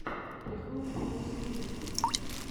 прикол фокусникди